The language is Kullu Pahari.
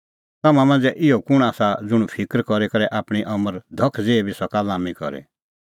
तम्हां मांझ़ै इहअ कुंण आसा ज़ुंण फिकर करी करै आपणीं अमर धख ज़ेही बी सका लाम्मी करी